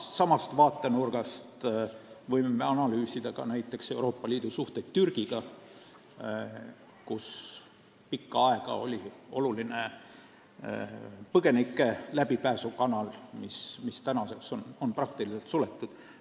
Samast vaatenurgast võime analüüsida ka näiteks Euroopa Liidu suhteid Türgiga, kus pikka aega oli oluline põgenike läbipääsukanal, mis nüüdseks on praktiliselt suletud.